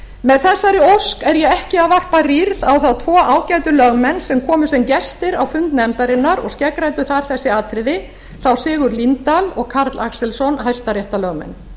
með þessari ósk er ég ekki að varpa rýrð á þá tvo ágætu lögmenn sem komu sem gestir á fund nefndarinnar og skeggræddu þar þessi atriði þá sigurð líndal og karl axelsson hæstaréttarlögmenn